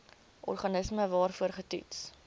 organisme waarvoor getoets